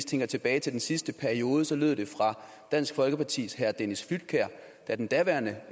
tænker tilbage til den sidste periode lød det fra dansk folkepartis herre dennis flydtkjær da den daværende